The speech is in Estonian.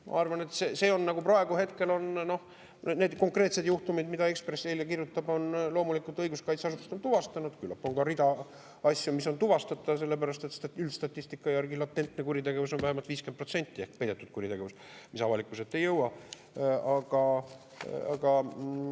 Ma arvan, et need konkreetsed juhtumid, millest Eesti Ekspress eile kirjutas, on õiguskaitseasutused praegu loomulikult tuvastanud, aga küllap on ka rida asju, mis on tuvastamata, sellepärast et üldstatistika järgi latentne kuritegevus ehk peidetud kuritegevus, mis avalikkuse ette ei jõua, on vähemalt 50%.